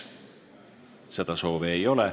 Seda soovi ei ole.